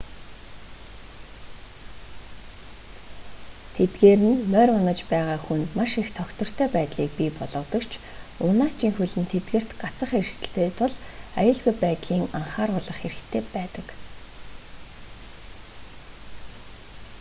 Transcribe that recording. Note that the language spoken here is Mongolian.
тэдгээр нь морь унаж байгаа хүнд маш их тогтвортой байдлыг бий болгодог ч унаачийн хөл нь тэдгээрт гацах эрсдэлтэй тул аюулгүй байдлын анхааруулах хэрэгтэй байдаг